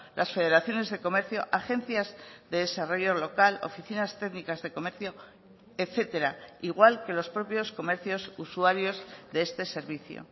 las federaciones de comercio agencias de desarrollo local oficinas técnicas de comercio etcétera igual que los propios comercios usuarios de este servicio